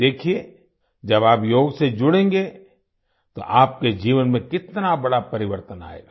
देखिये जब आप योग से जुड़ेंगे तो आपके जीवन में कितना बड़ा परिवर्तन आएगा